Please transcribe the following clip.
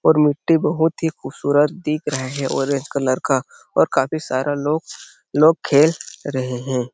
और मिट्टी भी बहुत ही खूबसूरत दिख रहे है ऑरेंज कलर का और काफी सारा लोग लोग खेल रहे हैं।